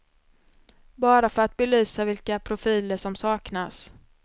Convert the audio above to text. Bara för att belysa vilka profiler som saknas.